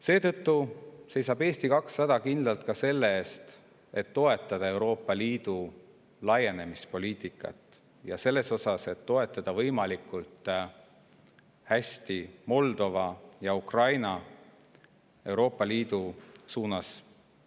Seetõttu seisab Eesti 200 kindlalt ka selle eest, et toetada Euroopa Liidu laienemispoliitikat ning toetada võimalikult hästi Moldova ja Ukraina liikumist Euroopa Liidu suunas.